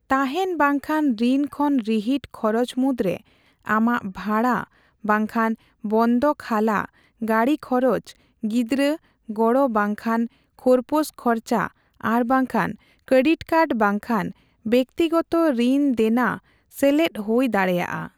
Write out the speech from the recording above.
ᱛᱟᱦᱮᱸᱱ ᱵᱟᱝᱠᱷᱟᱱ ᱨᱤᱱ ᱠᱷᱚᱱ ᱨᱤᱦᱤᱴ ᱠᱷᱚᱨᱚᱪ ᱢᱩᱫᱨᱮ ᱟᱢᱟᱜ ᱵᱷᱟᱲᱟ ᱵᱟᱝᱠᱷᱟᱱ ᱵᱚᱱᱫᱚᱠ ᱦᱟᱞᱟ, ᱜᱟᱺᱰᱤ ᱠᱷᱚᱨᱚᱣ, ᱜᱤᱫᱽᱨᱟ, ᱜᱚᱲᱚ ᱵᱟᱝᱠᱷᱟᱱ ᱠᱷᱳᱨᱯᱳᱥ ᱠᱷᱚᱨᱪᱟ ᱟᱨ ᱵᱟᱝᱠᱷᱟᱱ ᱠᱮᱨᱰᱤᱠ ᱠᱟᱨᱰ ᱵᱟᱝᱠᱷᱟᱱ ᱵᱮᱜᱛᱤᱜᱛᱚ ᱨᱤᱱ ᱫᱮᱱᱟ ᱥᱮᱞᱮᱨᱫ ᱵᱳᱭ ᱫᱟᱲᱮᱭᱟᱜᱼᱟ ᱾